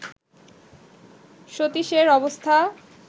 সতীশের অবস্থা